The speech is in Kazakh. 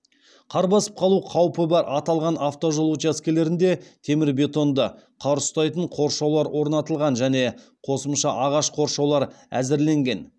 қар басып қалу қаупі бар аталған автожол учаскелерінде темірбетонды қар ұстайтын қоршаулар орнатылған және қосымша ағаш қоршаулар әзірленген